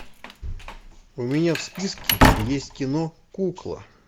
у меня в списке есть кино кукла